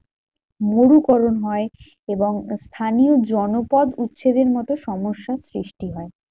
মরুকরণ হয় এবং স্থানীয় জনপদ উচ্ছেদের মতো সমস্যার সৃষ্টি হয়।